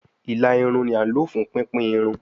Ila irun ni a lo fun pipin irun